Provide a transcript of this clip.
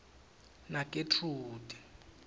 nagetrude